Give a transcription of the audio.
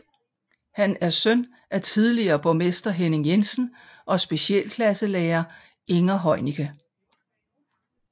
Han er søn af tidligere borgmester Henning Jensen og specialklasselærer Inger Heunicke